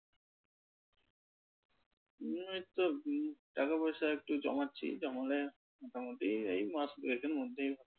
ওই তো টাকা পয়সা একটু জমাচ্ছি, জমালে মোটামুটি এই মাস দুয়েকের মধ্যেই।